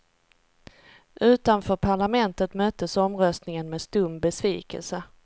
Utanför parlamentet möttes omröstningen med stum besvikelse.